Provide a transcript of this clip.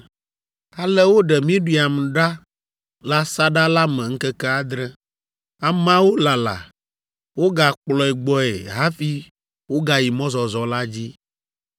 Ale woɖe Miriam ɖa le asaɖa la me ŋkeke adre. Ameawo lala, wogakplɔe gbɔe hafi wogayi mɔzɔzɔ la dzi.